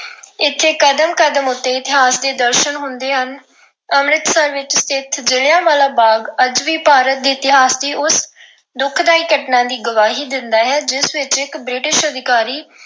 ਇਥੇ ਕਦਮ ਕਦਮ ਉੱਤੇ ਇਤਿਹਾਸ ਦੇ ਦਰਸ਼ਨ ਹੁੰਦੇ ਹਨ। ਅੰਮ੍ਰਿਤਸਰ ਵਿੱਚ ਸਥਿਤ ਜਲ੍ਹਿਆਂਵਾਲਾ ਬਾਗ ਅੱਜ ਵੀ ਪੰਜਾਬ ਦੇ ਇਤਿਹਾਸ ਦੀ ਉਸ ਦੁਖਦਾਈ ਘਟਨਾ ਦੀ ਗਵਾਹੀ ਦਿੰਦਾ ਹੈ, ਜਿਸ ਵਿੱਚ ਇੱਕ British ਅਧਿਕਾਰੀ